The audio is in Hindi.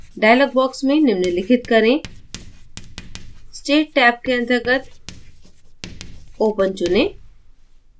dialog box में निम्नलिखित करेंstate टैब के अंतर्गत open चुनें